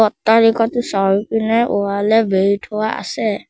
অট্টালিকাটো চাৰিওপিনে ওৱালে বেৰি থোৱা আছে।